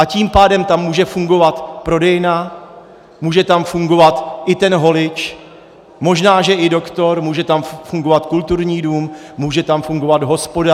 A tím pádem tam může fungovat prodejna, může tam fungovat i ten holič, možná že i doktor, může tam fungovat kulturní dům, může tam fungovat hospoda.